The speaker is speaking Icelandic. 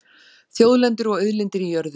Þjóðlendur og auðlindir í jörðu